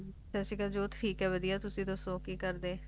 ਸਾਸਰੀਕਾਲ ਜੋਤ ਠੀਕ ਆਯ ਵਾਦਿਯ ਤੁਸੀਂ ਦਸੋ ਕੀ ਕਰਦੇ